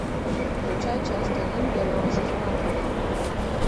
включай часть один первого сезона тюдоры